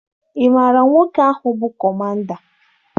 Ị maara nwoke ahụ bụ kọmanda?